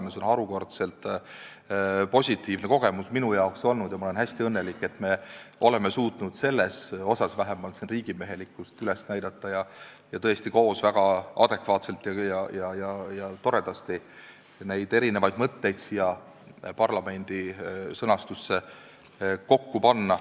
See on olnud mulle harukordselt positiivne kogemus ja ma olen hästi õnnelik, et me oleme suutnud vähemalt siin riigimehelikkust üles näidata ning tõesti koos väga adekvaatselt ja toredasti neid erinevaid mõtteid siia kokku panna.